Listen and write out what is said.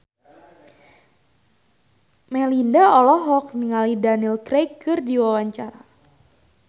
Melinda olohok ningali Daniel Craig keur diwawancara